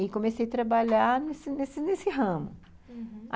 e comecei a trabalhar nesse ramo, uhum.